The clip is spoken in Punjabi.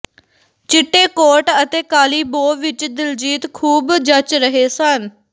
ਚਿੱਟੇ ਕੋਟ ਅਤੇ ਕਾਲੀ ਬੋ ਵਿੱਚ ਦਿਲਜੀਤ ਖੂਬ ਜੱਚ ਰਹੇ ਸਨ